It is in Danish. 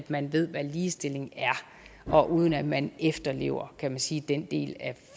man ved hvad ligestilling er og uden at man efterlever kan man sige den del af